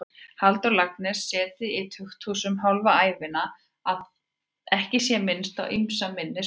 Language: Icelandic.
Halldór Laxness setið í tukthúsum hálfa ævina, að ekki sé minnst á ýmsa minni spámenn.